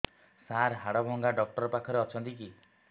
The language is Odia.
ସାର ହାଡଭଙ୍ଗା ଡକ୍ଟର ପାଖରେ ଅଛନ୍ତି କି